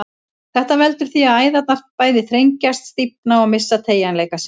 Þetta veldur því að æðarnar bæði þrengjast, stífna og missa teygjanleika sinn.